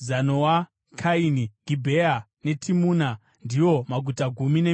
Kaini, Gibhea, neTimuna, ndiwo maguta gumi nemisha yawo.